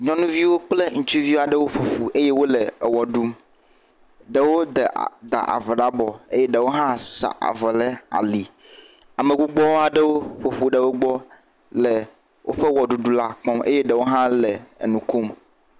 nyɔnuviaɖewo kple ŋutsuviaɖewo ƒoƒu eye wóle ɣe ɖum ɖewo davɔ la bɔ eye ɖewó hã sa avɔ le ali ame gbogbó aɖewo ƒoƒu ɖe wógbɔ le wóƒe ɣeɖuɖu la kpɔm eye ɖewo hã le nukom